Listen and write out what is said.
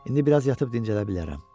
İndi biraz yatıb dincələ bilərəm.